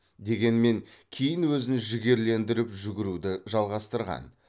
дегенмен кейін өзін жігерлендіріп жүгіруді жалғастырған